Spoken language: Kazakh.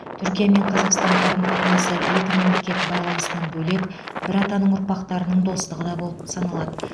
түркия мен қазақстан қарым қатынасы екі мемлекет байланысынан бөлек бір атаның ұрпақтарының достығы да болып саналады